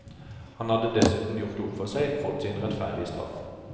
Han hadde dessuten gjort opp for seg, fått sin rettferdige straff.